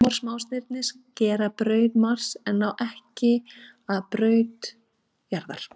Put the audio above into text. Amor smástirnin skera braut Mars en ná ekki að braut jarðar.